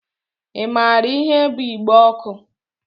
I maara ihe bú igbe ọkụ?